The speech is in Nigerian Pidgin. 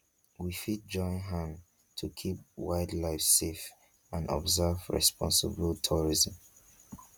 we fit join hand to keep wild life safe and observe responsible tourism